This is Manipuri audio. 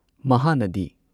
ꯃꯍꯥꯅꯗꯤ